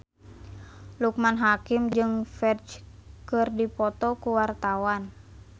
Loekman Hakim jeung Ferdge keur dipoto ku wartawan